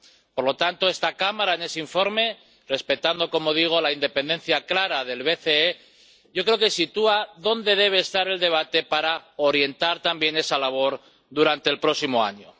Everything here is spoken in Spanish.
Por lo tanto, esta Cámara, en ese informe, respetando —como digo— la independencia clara del BCE, yo creo que sitúa dónde debe estar el debate para orientar también esa labor durante el próximo año.